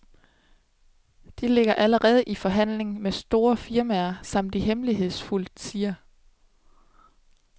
De ligger allerede i forhandling med flere store firmaer, som de hemmeligshedsfuldt siger.